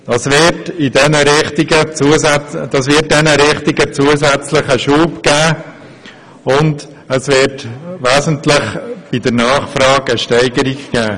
Das wird diesen Richtungen zusätzlichen Schub verleihen und die Nachfrage wird dadurch eine wesentliche Steigerung erfahren.